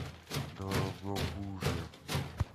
дорогобуже